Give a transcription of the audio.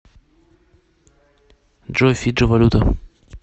джой фиджи валюта